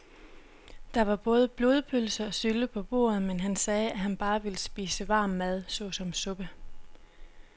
Der var både blodpølse og sylte på bordet, men han sagde, at han bare ville spise varm mad såsom suppe.